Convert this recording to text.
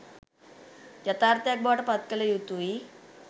යථාර්ථයක් බවට පත් කළ යුතුයි